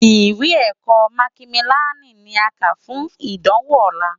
Iwé èkò mákimiláni ni ki á ká fún idánwó òlá